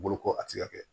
Boloko a ti se ka kɛ